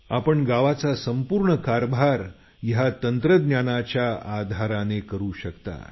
आपण गावाचा संपूर्ण कारभार या तंत्रज्ञानाच्या आधाराने करू शकता